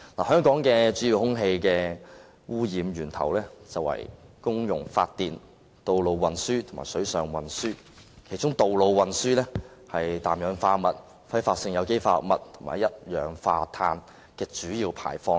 香港的主要空氣污染源頭是公用發電、道路運輸和水上運輸，其中道路運輸是氮氧化物、揮發性有機化合物和一氧化碳的主要排放源。